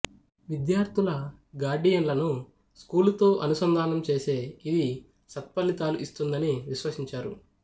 విద్యార్థుల గార్డియన్లను స్కూలుతో అనుసంధానం చేసే ఇది సత్ప్ఫలితాలు ఇస్తుందని విశ్వసించారు